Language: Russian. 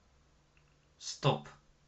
стоп